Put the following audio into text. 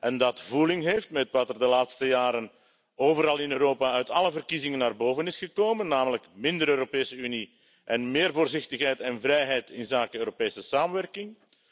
en dat voeling heeft met wat er de laatste jaren overal in Europa uit alle verkiezingen naar boven is gekomen, namelijk minder Europese Unie en meer voorzichtigheid en vrijheid inzake Europese samenwerking.